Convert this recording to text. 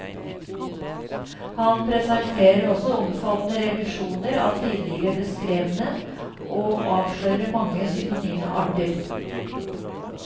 Han presenterer også omfattende revisjoner av tidligere beskrevne, og avslører mange synonyme arter.